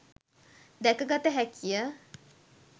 දැක ගත හැකි ය.